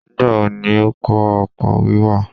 Nígbà wo ni ó kọ́ ọkọ̀ wíwà.?